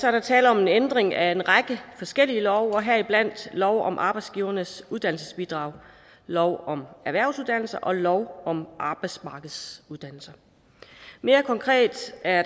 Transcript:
er der tale om en ændring af en række forskellige love heriblandt lov om arbejdsgivernes uddannelsesbidrag lov om erhvervsuddannelser og lov om arbejdsmarkedsuddannelser mere konkret er